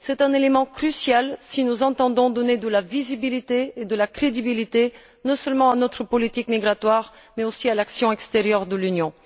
C'est un élément crucial si nous entendons donner de la visibilité et de la crédibilité non seulement à notre politique migratoire, mais aussi à l'action extérieure de l'Union.